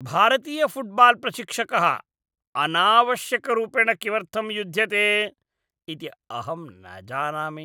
भारतीयफ़ुट्बाल्प्रशिक्षकः अनावश्यकरूपेण किमर्थं युध्यते इति अहं न जानामि।